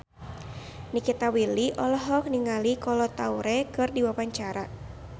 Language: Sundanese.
Nikita Willy olohok ningali Kolo Taure keur diwawancara